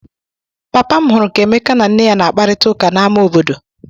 Papa m hụrụ ka Emeka na nne ya na-akparịta ụka n'ama obodo.